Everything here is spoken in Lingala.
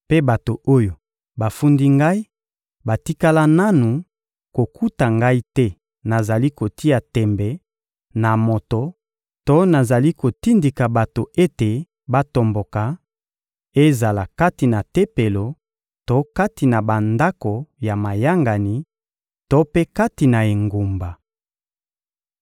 Mpe bato oyo bafundi ngai batikala nanu kokuta ngai te nazali kotia tembe na moto to nazali kotindika bato ete batomboka, ezala kati na Tempelo to kati na bandako ya mayangani to mpe kati na engumba.